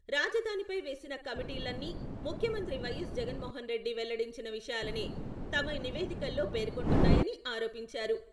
రాజధానిపై వేసిన కమిటీలన్నీ ముఖ్యమంత్రి వై.ఎస్.జగన్ మోహన రెడ్డి వెల్లడించిన విషయాలనే తమ నివేదికల్లో పేర్కొంటున్నాయని ఆరోపించారు.